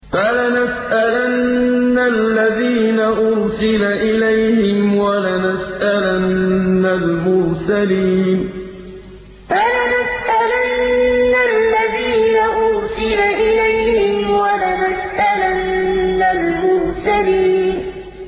فَلَنَسْأَلَنَّ الَّذِينَ أُرْسِلَ إِلَيْهِمْ وَلَنَسْأَلَنَّ الْمُرْسَلِينَ فَلَنَسْأَلَنَّ الَّذِينَ أُرْسِلَ إِلَيْهِمْ وَلَنَسْأَلَنَّ الْمُرْسَلِينَ